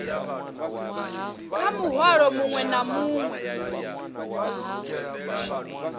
kha muhwalo muṅwe na muṅwe